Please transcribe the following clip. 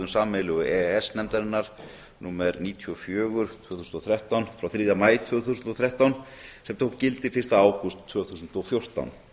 sameiginlegu e e s nefndarinnar númer níutíu og fjögur tvö þúsund og þrettán frá þriðja maí tvö þúsund og þrettán sem tók gildi fyrsta ágúst tvö þúsund og fjórtán